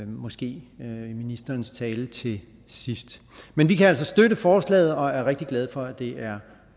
måske i ministerens tale til sidst men vi kan altså støtte forslaget og er rigtig glade for at det er